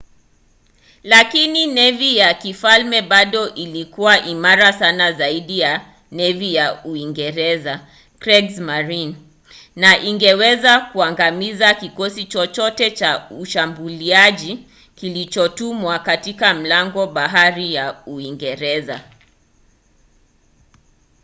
lakini nevi ya kifalme bado ilikuwa imara sana zaidi ya nevi ya ujerumani kriegsmarine na ingeweza kuangamiza kikosi chochote cha ushambuliaji kilichotumwa katika mlango-bahari wa uingereza